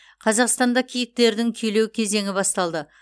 қазақстанда киіктердің күйлеу кезеңі басталды